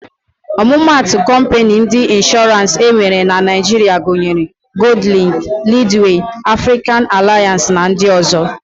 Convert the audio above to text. Ọmụmatụ kọmpịnị ndị Ịnshọrans enwere na Naịjiria gunyere: Goldlịnk, Lidwee, Afrịkan Alịans na ndị ọ̀zọ́.